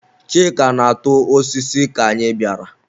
Chika na-atụ osisi ka anyị bịara.